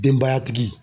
Denbayatigi